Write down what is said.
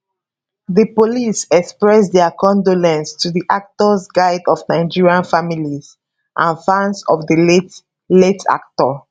di police express dia condolence to di actors guild of nigeria families and fans of di late late actor